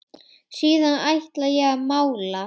Síðan ætla ég að mála.